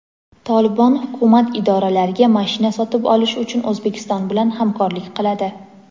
"Tolibon" hukumat idoralariga mashina sotib olish uchun O‘zbekiston bilan hamkorlik qiladi.